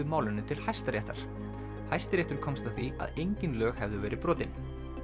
málinu til Hæstaréttar Hæstiréttur komst að því að engin lög hefðu verið brotin